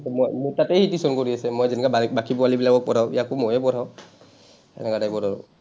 মই, মোৰ তাতেই টিউচন কৰি আছে। মই যেনেকে বাকী পোৱালীবিলাকক পঢ়াওঁ, ইয়াকো ময়েই পঢ়াওঁ। এনেকুৱা type ৰ আৰু।